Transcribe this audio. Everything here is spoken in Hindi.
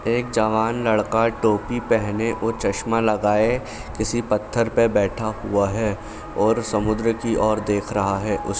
एक जवान लड़का टोपी पहने और चश्मा लगाए किसी पत्थर पे बैठा हुआ है और समुद्र की और देख रहा है। उस --